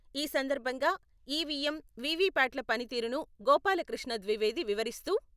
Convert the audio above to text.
ఈ సందర్భంగా ఈవీఎం, వీవీప్యాట్ల పనితీరును గోపాలకృష్ణ ద్వివేది వివరిస్తూ.....